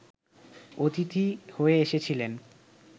অতিথি হয়ে এসেছিলেন